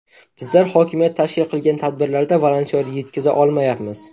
Bizlar hokimiyat tashkil qilgan tadbirlarda volontyor yetkiza olmayapmiz.